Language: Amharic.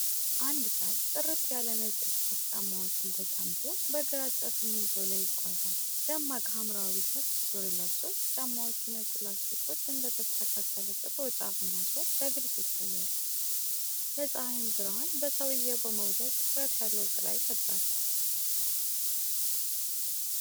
አንድ ሰው ጥርት ያለ ነጭ የስፖርት ጫማዎችን ተጫምቶ በግራጫ ሲሚንቶ ላይ ይጓዛል። ደማቅ ሐምራዊ ሰፊ ሱሪ ለብሶ፣ የጫማዎቹ ነጭ ላስቲኮች እንደ ተስተካከለ ጥቁር ጫፍና ሶል በግልጽ ይታያሉ። የፀሐይ ብርሃን በሰውየው በመውደቅ ጥርት ያለ ጥላ ይፈጥራል።